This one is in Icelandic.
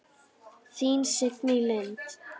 Þín Signý Lind.